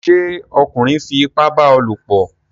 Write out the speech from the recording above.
ṣé ọkunrin fi ipá bá a lòpọ̀?